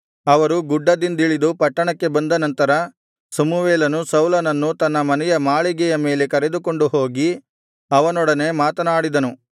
ಅವರು ಗುಡ್ಡದಿಂದಿಳಿದು ಪಟ್ಟಣಕ್ಕೆ ಬಂದನಂತರ ಸಮುವೇಲನು ಸೌಲನನ್ನು ತನ್ನ ಮನೆಯ ಮಾಳಿಗೆಯ ಮೇಲೆ ಕರೆದುಕೊಂಡು ಹೋಗಿ ಅವನೊಡನೆ ಮಾತನಾಡಿದನು